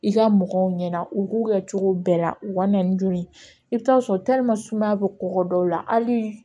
I ka mɔgɔw ɲɛna u k'u kɛ cogo bɛɛ la u ka na ni joli i bɛ taa sɔrɔ sumaya bɛ kɔgɔ dɔw la hali